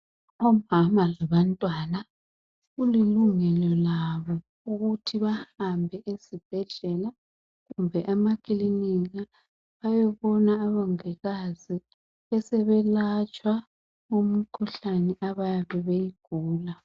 Omama labantwana kulilungelo labo ukuthi bahambe ezibhedlela kumbe emakilinika bayebona obongikazi besebelatshwa umkhuhlane abayabe bewugula.